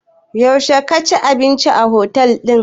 Yaushe ka ji abinci a otel ɗin?